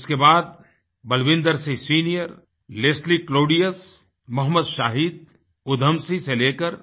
उसके बाद Balwinder Singh senior Leslie क्लौड़ीयसLeslie Claudius Mohammad Shahid Udham Singh से लेकर